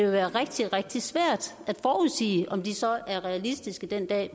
være rigtig rigtig svært at forudsige om de så er realistiske den dag